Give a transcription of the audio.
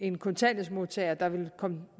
en kontanthjælpsmodtager der vil komme